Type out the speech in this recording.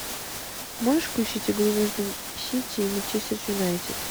можешь включить игру между сити и манчестер юнайтед